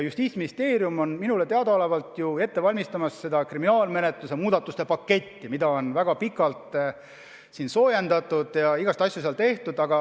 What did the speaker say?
Justiitsministeerium valmistab minu teada ette kriminaalmenetluse muudatuste paketti, mida on väga pikalt soojendatud ja igasuguseid asju seal tehtud.